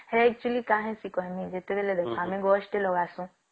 ସେଟା actually କାଇଁ କଃ ସନ ପାଣି ଗୋଷ୍ଠୀ ଲଗା ସନ